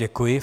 Děkuji.